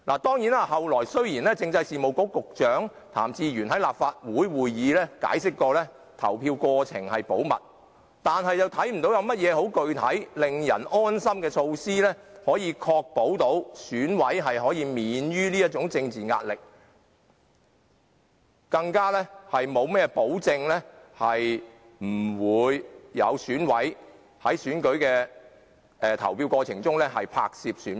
雖然政制及內地事務局局長譚志源後來在立法會會議上重申投票過程保密，但我們看不到政府有何令人安心的具體措施，確保選委可免受政治壓力，更沒有保證選委在選舉過程中不會拍攝選票。